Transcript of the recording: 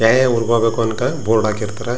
ಯಾವ್ಯಾವ ಊರಿಗೆ ಹೋಗ್ಬೇಕು ಅನ್ನೋಕೆ ಬೋರ್ಡ್ ಹಾಕಿರ್ತಾರ.